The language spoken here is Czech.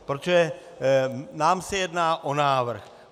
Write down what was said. Protože nám se jedná o návrh.